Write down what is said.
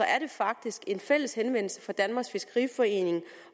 er det faktisk en fælles henvendelse fra danmarks fiskeriforening